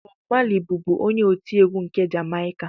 Bọb Mali bụbu onye otiegwu nke Jamaịka